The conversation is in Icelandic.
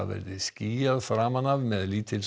skýjað framan af með